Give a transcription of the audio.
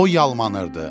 O yalmanırdı.